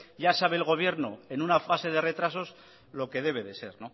ya sabe el gobierno en una fase de retrasos lo que debe de ser